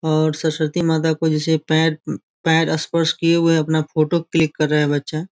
और सरस्वती माता को जैसे पैर पैर स्पर्श किए हुए है अपना फोटो क्लिक कर रहा है बच्चा।